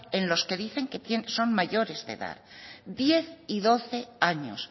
en los que dicen que son mayores de edad diez y doce años